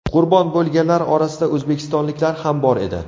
Qurbon bo‘lganlar orasida o‘zbekistonliklar ham bor edi.